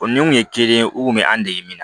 O ni kun ye kelen ye u kun bɛ an dege min na